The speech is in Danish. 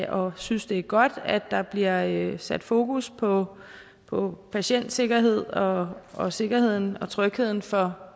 og synes det er godt at der bliver sat fokus på på patientsikkerhed og og sikkerheden og trygheden for